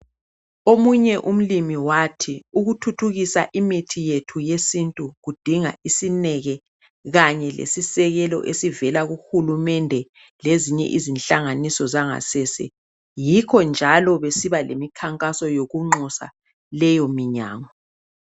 Omunye umlimi wathi ukuthuthukisa imithi yethu yesintu kudinga isineke, Kanye lesisekelo, esivela kuhulumende, ezinye izinhlanganiso zangasese Yikho njalo besiba lemikhankaso yokunxusa leyominyango.